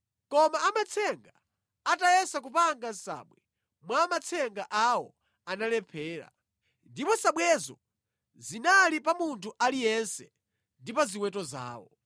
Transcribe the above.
Koma amatsenga atayesa kupanga nsabwe mwa matsenga awo, analephera. Ndipo nsabwezo zinali pa munthu aliyense ndi pa ziweto zawo.